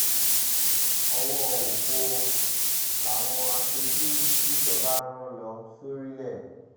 ọwọ́ òfo làwọn aṣojú tìjọba rán lọ sórílẹ̀